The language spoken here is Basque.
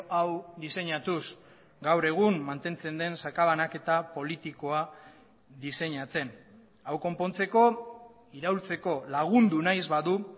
hau diseinatuz gaur egun mantentzen den sakabanaketa politikoa diseinatzen hau konpontzeko iraultzeko lagundu nahi ez badu